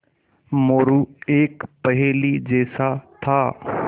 मोरू एक पहेली जैसा था